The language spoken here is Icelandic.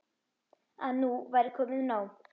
Að nú væri komið nóg.